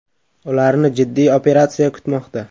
Ularni jiddiy operatsiya kutmoqda .